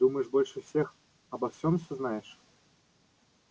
думаешь больше всех обо всём всё знаешь